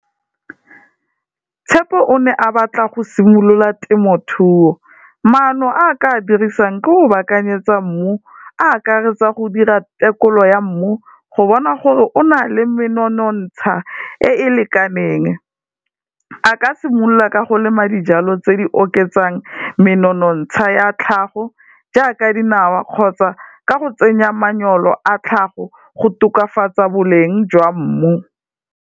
Tshepo o ne a batla go simolola temothuo, maano a ka dirisang, ke go baakanyetsa mmu a akaretsa go dira tekolo ya mmu, go bona gore o na le menontsha e e lekaneng, a ka simolola ka go lemela dijalo tse di oketsang menontsha ya tlhago jaaka dinawa kgotsa ka go tsenya manyolo a tlhago go tokafatsa boleng jwa mmu.